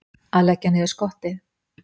Að leggja niður skottið